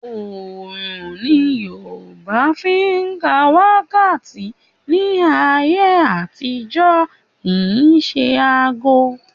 Òòrun ni Yorùbá fi ń ka wákàtí ní ayé àtijọ́ kì í ṣe aago